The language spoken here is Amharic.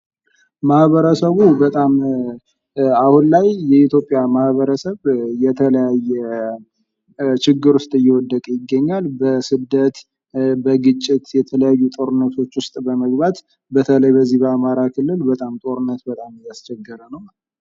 ማህበረሰቡ በጣም አሁን ላይ የኢትዮጵያ ማህበረስብ የተለያየ ችግር ዉስጥ እየወደቀ ይገኛል ። በስደት ፣ በግጭት ፣ የተለያዩ ጦርነቶች ዉስጥ በመግባት ላይ ይገኛል።